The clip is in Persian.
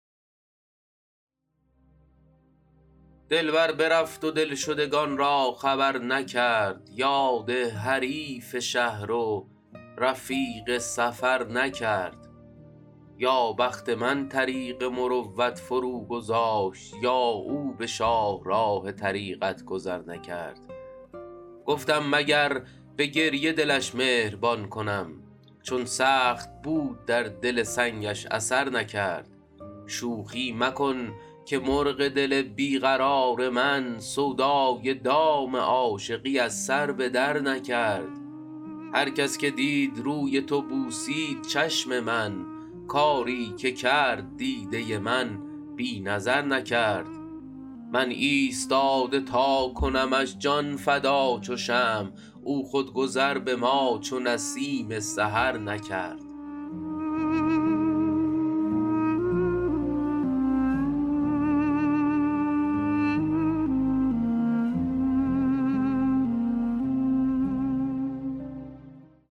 دلبر برفت و دلشدگان را خبر نکرد یاد حریف شهر و رفیق سفر نکرد یا بخت من طریق مروت فروگذاشت یا او به شاهراه طریقت گذر نکرد گفتم مگر به گریه دلش مهربان کنم چون سخت بود در دل سنگش اثر نکرد شوخی مکن که مرغ دل بی قرار من سودای دام عاشقی از سر به درنکرد هر کس که دید روی تو بوسید چشم من کاری که کرد دیده من بی نظر نکرد من ایستاده تا کنمش جان فدا چو شمع او خود گذر به ما چو نسیم سحر نکرد